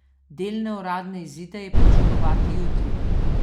Delne uradne izide je pričakovati jutri.